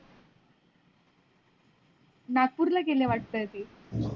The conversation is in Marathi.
नागपुर ला गेले वाटत ते.